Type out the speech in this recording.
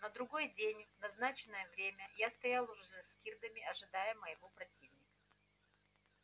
на другой день в назначенное время я стоял уже за скирдами ожидая моего противника